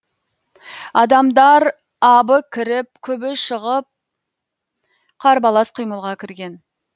адамдар абы кіріп күбі шығып қарбалас қимылға кірген